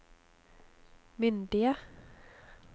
myndige